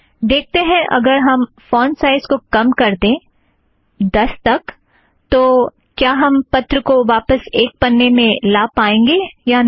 देखते हैं अगर हम फ़ॉन्ट साइज़ को कम कर दें दस तक तो क्या हम पत्र को वापस एक पन्ने में ला पाएंगे या नहीं